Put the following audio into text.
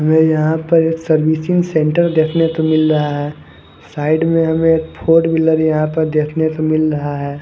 हमें यहां पर एक सर्विसिंग सेंटर देखने को मिल रहा है साइड में हमें एक फोर व्हीलर यहां पर देखने को मिल रहा है।